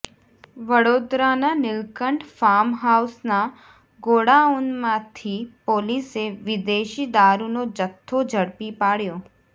વડોદરાના નીલકંઠ ફાર્મ હાઉસના ગોડાઉનમાંથી પોલીસે વિદેશી દારૂનો જથ્થો ઝડપી પાડ્યો